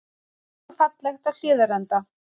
Grænt og fallegt á Hlíðarenda